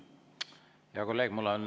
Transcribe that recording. Hea kolleeg!